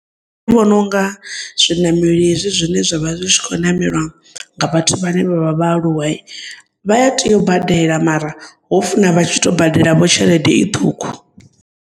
Ndi vhononga zwinameli hezwi zwine zwavha zwitshikho namelwa ngavhathu vhane vha vha vhaaluwayi, vhaya tea ubadele mara hofuna vho vhatshito badela tshelede iṱhukhu.